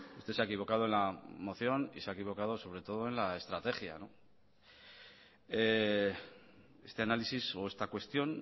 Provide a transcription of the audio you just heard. usted se ha equivocado en la moción y se ha equivocado sobre todo en la estrategia este análisis o esta cuestión